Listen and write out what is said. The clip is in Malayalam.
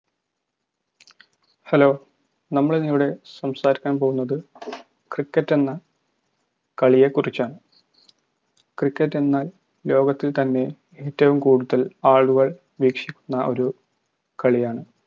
hello നമ്മളിന്നിവിടെ സംസാരിക്കാൻ പോകുന്നത് cricket എന്ന കളിയെക്കുറിച്ചാണ് cricket എന്നാൽ ലോകത്തിൽ തന്നെ ഏറ്റവും കൂടുതൽ ആളുകൾ വീക്ഷിക്കുന്ന ഒരു കളിയാണ്